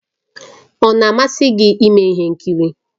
Ọ na-amasị gị ime ihe nkiri?